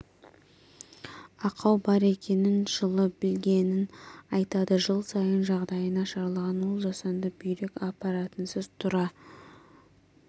ақау бар екенін жылы білгенін айтады жыл сайын жағдайы нашарлаған ол жасанды бүйрек аппаратынсыз тұра